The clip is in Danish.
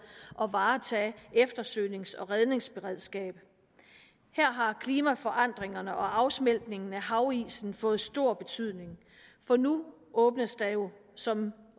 og varetage eftersøgnings og redningsberedskabet her har klimaforandringerne og afsmeltningen af havisen fået stor betydning for nu åbnes der jo som